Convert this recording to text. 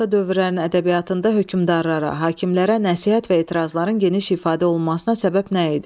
Qədim və orta dövrlərin ədəbiyyatında hökmdarlara, hakimlərə nəsihət və etirazların geniş ifadə olunmasına səbəb nə idi?